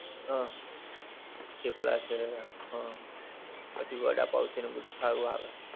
હં થેપલા છે ને હં, પછી વડા પાંવ છે ને બધુ સારું આવે છે.